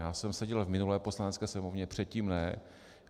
Já jsem seděl v minulé Poslanecké sněmovně, předtím ne.